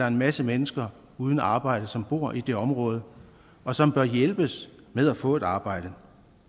en masse mennesker uden arbejde som bor i det område og som bør hjælpes med at få et arbejde